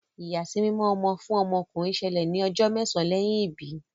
ìyàsímímọ ọmọ fún ọmọ ọkunrin ṣẹlẹ ní ojó mésàn lẹyìn ibí